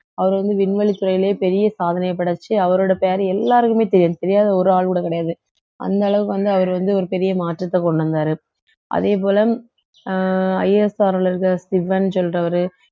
அவர் வந்து விண்வெளித் துறையிலேயே பெரிய சாதனையை படைச்சு அவரோட பேர் எல்லாருக்குமே தெரியும் தெரியாத ஒரு ஆள் கூட கிடையாது அந்த அளவுக்கு வந்து அவர் வந்து ஒரு பெரிய மாற்றத்தை கொண்டு வந்தாரு அதே போல அஹ் ISRO ல இருக்கிற சிவன் சொல்றவரு